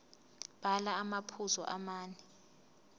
bhala amaphuzu amane